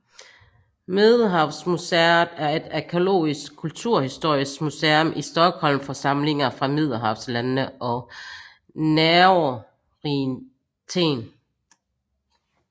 Medelhavsmuseet er et arkæologisk kulturhistorisk museum i Stockholm for samlinger fra middelhavslandene og Nærorienten